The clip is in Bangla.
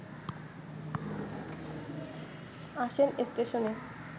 আসেন স্টেশনে